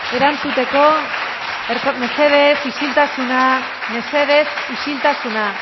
eskerrik asko becerra jauna mesedez isiltasuna mesedez isiltasuna